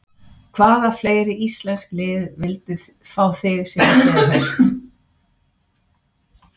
Hvaða fleiri íslensk lið vildu fá þig síðastliðið haust?